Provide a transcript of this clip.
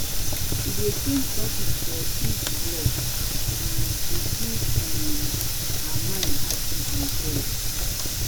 she dey change topic for each block um to keep um her mind active and fresh.